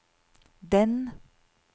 den